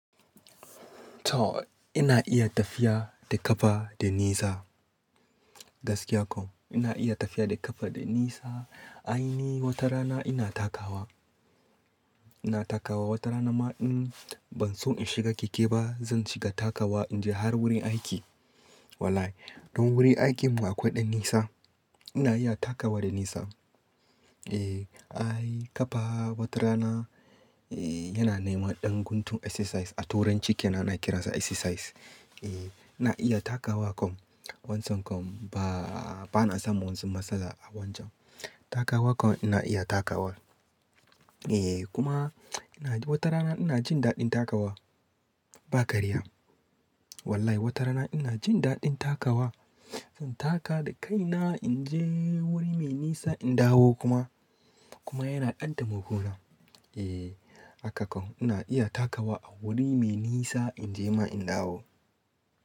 To ina iya tafiya da ƙafa da nisa, gaskiya kam ina iya tafiya da ƙafa da nisa. Ai ni wata rana ina takawa, ina takawa wata rana ma in ban so in shiga keke ba zan shiga takawa in je har wurin aiki. Wallahi don wurin aikinmu akwai ɗan nisa ina iya takawa da nisa. Eh, ai ƙafa wata rana, yana nema ɗan guntun exercise a turanci kenan ana kiransa exercise. Eh, ina iya takawa kam, wancan kam ba, ba na samun wani matsala a wancan. Takawa kam ina iya takawa. E kuma ina wata rana ina jin daɗin takawa ba karya. Wallahi wata rana ina jin daɗin takawa, in taka da kaina in je wuri mai nisa in dawo kuma, kuma yana ɗan taimakona Eh haka kam ina iya takawa a wuri mai nisa in je ma in dawo.